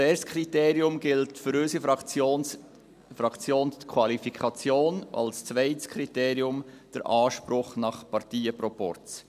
Als erstes Kriterium gilt für unsere Fraktion die Qualifikation, als zweites Kriterium der Anspruch nach Parteienproporz.